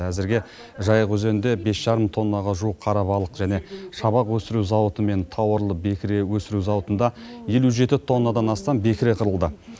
әзірге жайық өзенінде бес жарым тоннаға жуық қара балық және шабақ өсіру зауыты мен тауарлы бекіре өсіру зауытында елу жеті тоннадан астам бекіре қырылды